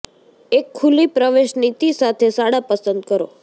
એક ખુલ્લી પ્રવેશ નીતિ સાથે શાળા પસંદ કરો